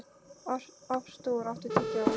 Artúr, áttu tyggjó?